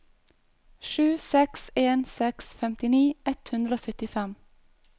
sju seks en seks femtini ett hundre og syttifem